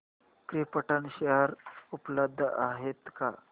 krypton share उपलब्ध आहेत का